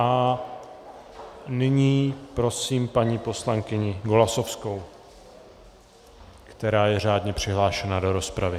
A nyní prosím paní poslankyni Golasowskou, která je řádně přihlášena do rozpravy.